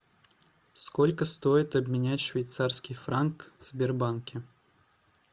сколько стоит обменять швейцарский франк в сбербанке